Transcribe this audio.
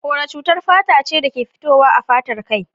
Kora cutar fata ce dake fitowa a fatar kai.